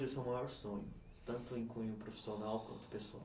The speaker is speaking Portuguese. Seu maior sonho, tanto em cunho profissional quanto pessoal?